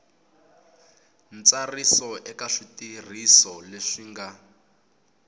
ntsariso eka switirhiso leswi nga